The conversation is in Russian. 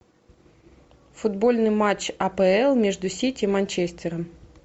футбольный матч апл между сити и манчестером